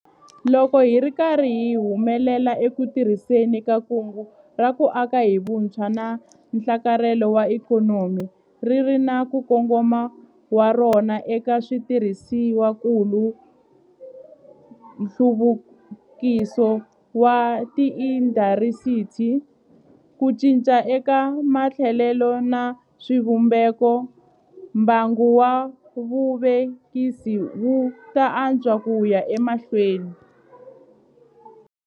Loko hi ri karhi hi humelela eku tirhiseni ka Kungu ra ku Aka hi Vutshwa na Nhlakarhelo wa Ikhonomi - ri ri na nkongomo wa rona eka switirhisiwakulu, nhluvukiso wa tiindasitiri, ku cinca eka matholelo na swivumbeko - mbangu wa vuvekisi wu ta antswa ku ya emahlweni.